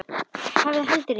Hafði heldur enga.